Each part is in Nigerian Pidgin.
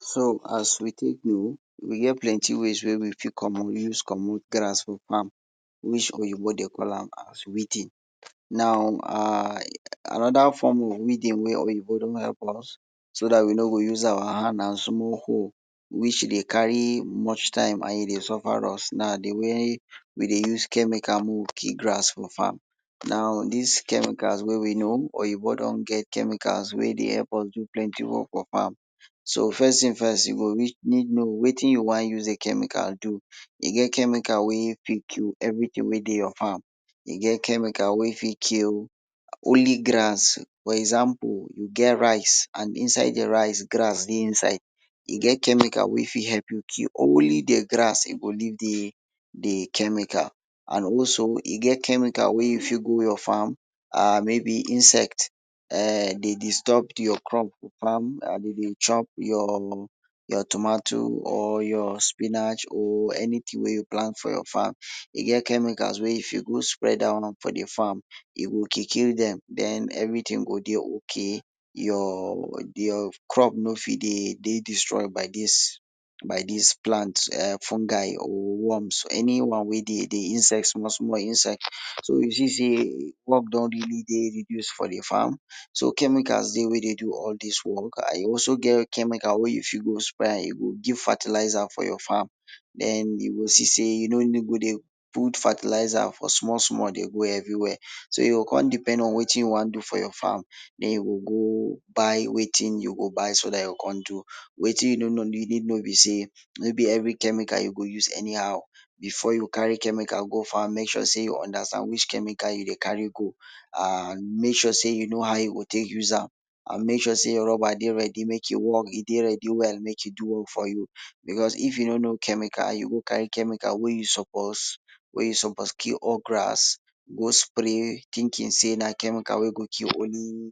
So, As we tek know, we get plenty ways wey we fit come we use commot grass for farm. Oyinbo de call am weeding um Another me dey wait wey oyinbo don help us, so we no go use our hand and small hoe, e dey carry much time and e dey suffer us, na de way we dey use chemical mek we kill grass for farm. Now, dis chemicals wey we know, oyinbo don get chemicals wey dey help us do plenty work for farm. First tin first, e go need know wetin you wan use chemical do. E get chemical wey fit kill everytin wey dey your farm. E get chemical wey fit kill plain grass, for example: you get rice and inside de rice, grass dey inside, e get chemical wey fit help you kill only de grass, e go leave de, de chemical. Also, e get chemical wey you fit go your farm, maybe insect um dey disturb your crop for farm and de dey chop your tomato or your spinach or anytin wey you plant for your farm. E get chemicals wey if you go spread dat one for de farm to kill, kill dem, den, everytin go dey okay or your crop no fit dey dey destroy by dis, dis plant um fungi, or worms, anyone wey dey de inside small, small, inside so. You see say work don really dey reduce for de farm? So Chemicals dey wey dey do all dis work and e also get chemical wey you fit go e go give fertilizer for your farm, den, you go see say you no need go dey put fertilizer for small, small dey go everywhere. So, you go come depend on wetin you wan do for your farm, den, you go go buy wetin you go buy so dat you go come do. Wetin you no know if no be say no be every chemical you go use anyhow. Before you carry chemical go farm, mek sure say you understand which chemical go farm. Mek sure say you understand which chemical you dey carry go. And mek sure say you know how you go tek use am, an mek sure say rubber dey ready mek e work, e dey ready well mek e do work for you, because if you no know chemical, you go carry chemical wey you suppose, wey you suppose kill all de grass. kiki say na chemical wey go kill only,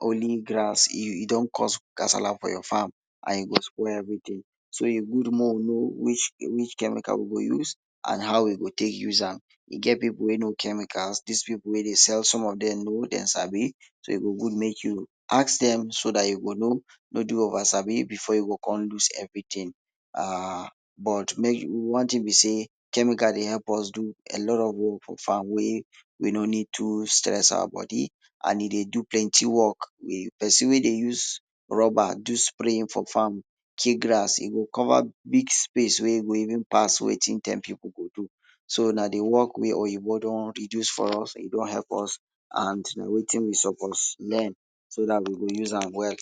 only grass. You, you don cause Kasara for your farm and you go spoil everytin. So, e good mek we know which, which chemical we go use and how we go tek use am. E get pipu wey know chemicals. Dis pipu wey dey sell some of dem know, dem sabi. So, e go good mek you ask dem, so dat you go know. No do oversabi before you go come loss everytin. um But, mek you…one tin be say chemical dey help us do a lot of work for farm wey we no need to stress our body and e dey do plenty work um person wey dey use rubber do spraying for farm kill grass, e go cover big space wey go even pass wetin ten pipu go do. So, na de work wey oyinbo don reduce for us, e don help us and wetin we suppose learn, so dat we go use am well.